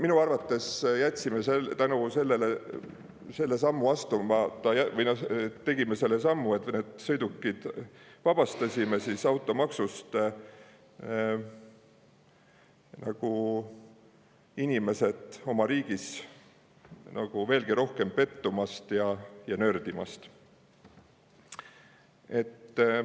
Ma arvan, et me tegime selle sammu, vabastasime need sõidukid automaksust selleks, et inimesed oma riigis veelgi rohkem pettuma ja nördima.